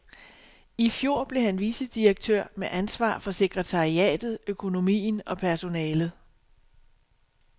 I fjor blev han vicedirektør med ansvar for sekretariatet, økonomien og personalet.